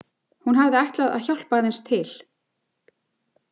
Hún hafði ætlað að hjálpa aðeins til.